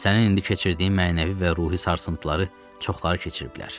Sənin indi keçirdiyin mənəvi və ruhi sarsıntıları çoxları keçiribdirlər.